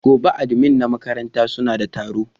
Gobe ​​admin na makaranta su na de taro